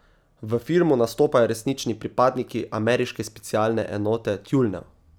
V filmu nastopajo resnični pripadniki ameriške specialne enote tjulnjev.